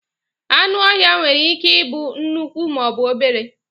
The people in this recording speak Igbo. anụ ọhịa nwere ike ibu nnukwu ma ọ bụ obere